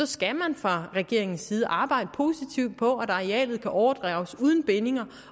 skal man fra regeringens side arbejde positivt på at arealet kan overdrages uden bindinger